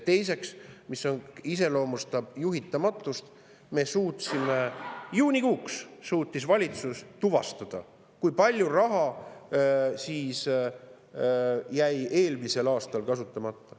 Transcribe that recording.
Teiseks, mis iseloomustab juhitamatust, siis juunikuuks suutis valitsus tuvastada, kui palju raha jäi eelmisel aastal kasutamata.